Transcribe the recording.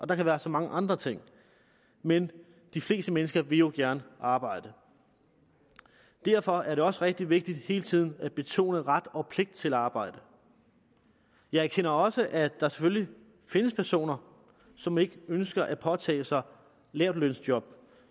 der kan være så mange andre ting men de fleste mennesker vil jo gerne arbejde derfor er det også rigtig vigtigt hele tiden at betone ret og pligt til arbejde jeg erkender også at der selvfølgelig findes personer som ikke ønsker at påtage sig lavtlønsjob